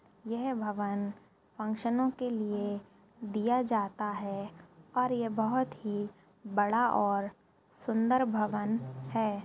ये भवन फ़ंक्शनों के लिए दिया जाता है और ये बहोत ही बड़ा और सुंदर भवन है।